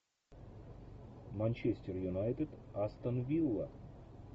манчестер юнайтед астон вилла